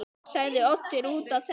sagði Oddur úti á þekju.